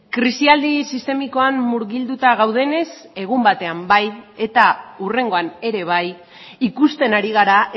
krisialdi sistemikoan murgilduta gaudenez egun batean bai eta hurrengoan ere bai ikusten ari gara